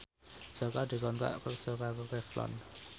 Jaka dikontrak kerja karo Revlon